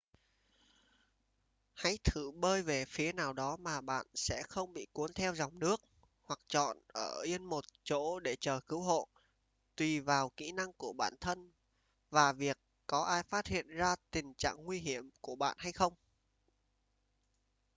hãy thử bơi về phía nào đó mà bạn sẽ không bị cuốn theo dòng nước hoặc chọn ở yên một chỗ để chờ cứu hộ tùy vào kỹ năng của bản thân và việc có ai phát hiện ra tình trạng nguy hiểm của bạn hay không